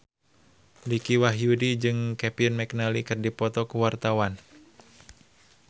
Dicky Wahyudi jeung Kevin McNally keur dipoto ku wartawan